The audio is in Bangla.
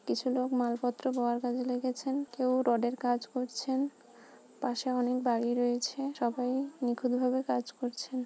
কিছু লোক মালপত্র বওয়ার কাজে লেগেছেন কেউ রডের কাজ করছেন পাশে অনেক বাড়ি রয়েছে সবাই নিখুঁত ভাবে কাজ করছেন।